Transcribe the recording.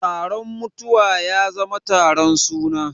Taron mutuwa ya zama taron suna.